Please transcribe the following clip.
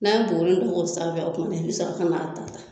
N'a ye buguri dɔ k'o sanfɛ o kuma na i bi sɔrɔ ka n'a da da